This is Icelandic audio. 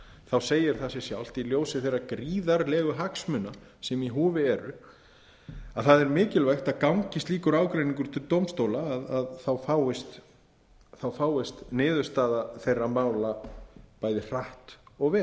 þá segir það sig sjálft í ljósi þeirrar gríðarlegu hagsmuna sem í húfi eru að það er mikilvægt að gangi slíkur ágreiningur til dómstóla þá fáist niðurstaða þeirra mála bæði hratt og vel